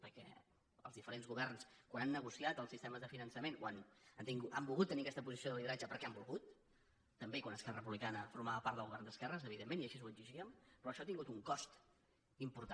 perquè els diferents governs quan han negociat els sistemes de finançament han volgut tenir aquesta posició de lideratge perquè han volgut també quan esquerra republicana formava part del govern d’esquerres evidentment i així ho exigíem però això ha tingut un cost important